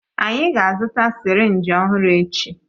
Anyị ga-azụta sirinji ọhụrụ echi.